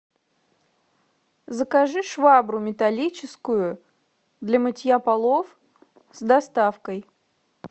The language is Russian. закажи швабру металлическую для мытья полов с доставкой